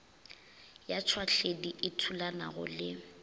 ya tšhwahledi e thulanago le